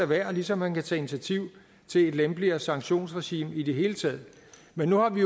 være ligesom han kan tage initiativ til et lempeligere sanktionsregime i det hele taget men nu har vi